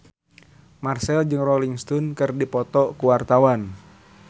Marchell jeung Rolling Stone keur dipoto ku wartawan